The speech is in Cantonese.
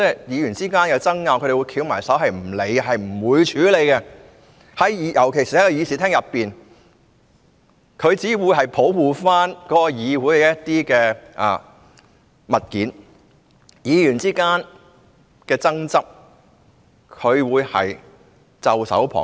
議員之間有爭拗，他們不理會，不處理，尤其是在議事廳內，他們只會保護議事廳內的設施，對議員之間的爭執，他們只會袖手旁觀。